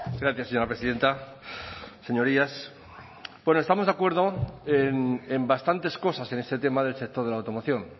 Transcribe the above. gracias señora presidenta señorías bueno estamos de acuerdo en bastantes cosas en este tema del sector de la automoción